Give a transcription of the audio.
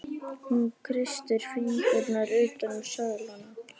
Hún kreistir fingurna utan um seðlana.